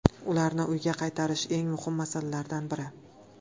Ularni uyga qaytarish eng muhim masalalardan biri.